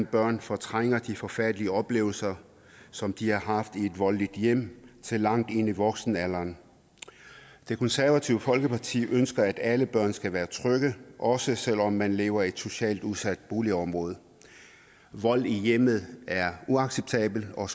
børn fortrænger de forfærdelige oplevelser som de har haft i et voldeligt hjem til langt ind i voksenalderen det konservative folkeparti ønsker at alle børn skal være trygge også selv om man lever i et socialt udsat boligområde vold i hjemmet er uacceptabelt og